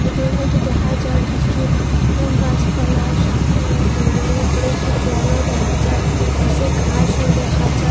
ফটোর মদ্যে দেখা যায় কিছু গাসপালা সামনে দূরে উপরে একটু জলও দেহা যায় নিচে ঘাসও দেখা যায়।